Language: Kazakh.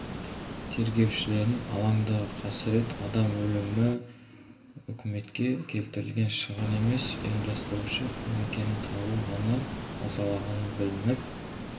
тергеушілерін алаңдағы қасірет адам өлімі өкіметке келтірілген шығын емес ұйымдастырушы кім екенін табу ғана мазалағаны білініп